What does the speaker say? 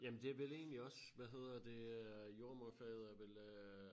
Jamen det vel egentlig også hvad hedder det øh jordemoderfaget er vel øh